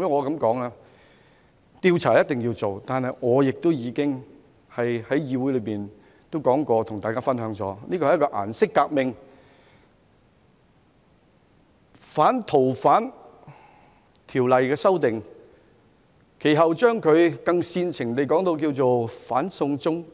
主席，調查一定要做，但我已在議會告訴大家，這是一場"顏色革命"，而反《逃犯條例》修訂，以及其後煽情的"反送中